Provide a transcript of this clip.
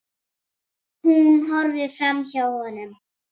Hún horfir framhjá honum.